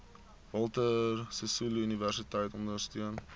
walter sisuluuniversiteit ondersteun